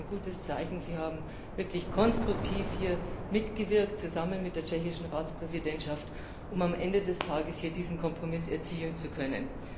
Das ist auch ein gutes Zeichen. Sie haben hier wirklich konstruktiv mitgewirkt, zusammen mit der tschechischen Ratspräsidentschaft, um am Ende des Tages diesen Kompromiss erzielen zu können.